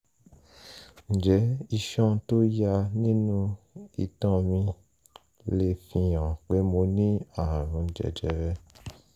ǹjẹ́ iṣan tó ya nínú itan mi lè fi hàn pé mo ní ààrùn jẹjẹrẹ?